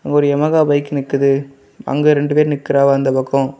ஒரு Yamaha bike நிக்கிது அங்கெ ரெண்டு பேரு நிக்கிறாங்வ அந்த பக்கொ.